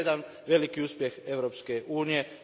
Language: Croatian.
To je jedan veliki uspjeh Europske unije.